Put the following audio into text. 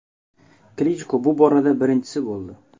Klichko bu borada birinchisi bo‘ldi.